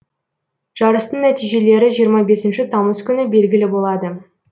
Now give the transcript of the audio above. жарыстың нәтижелері жиырма бесінші тамыз күні белгілі болады